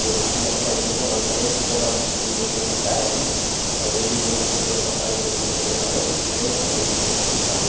जो बोहोत ही अच्छा ए.टी.एम. है और हर एक जगह ये ए.टी.एम. मिलता है हमें और जब भी जो कई जरुरत पड़ता है इस ए.टी.एम. से पैसा लोग विथ्ड्रॉअल करते हैविथ्ड्रॉअल करके निकाल लेते --